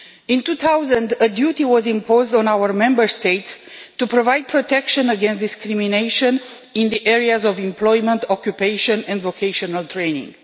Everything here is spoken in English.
In 2000, a duty was imposed on our Member States to provide protection against discrimination in the areas of employment and occupational and vocational training.